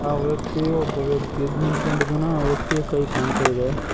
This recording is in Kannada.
ಆ ವ್ಯಕ್ತಿಯು ಒಬ್ಬ ವ್ಯಕ್ತಿ ಎದ್ ನಿಂತ್ಕೊಂಡಿದ್ದಾನೆ ಆ ವ್ಯಕ್ತಿಯ ಕೈ ಕಾಣ್ತಾ ಇದೆ.